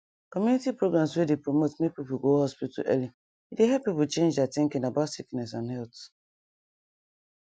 community programs wey dey promote make people go hospital early e dey help people change their thinking about sickness and health